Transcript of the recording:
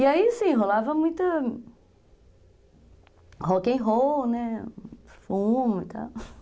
E aí, assim, rolava muito rock and roll, né, fumo e tal